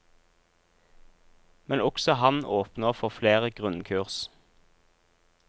Men også han åpner for flere grunnkurs.